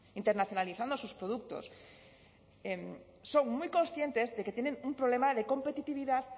internacionalizando sus productos son muy conscientes de que tienen un problema de competitividad